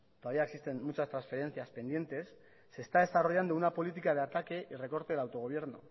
todavía existen muchas transferencias pendientes se está desarrollando una política de ataque y recorte del autogobierno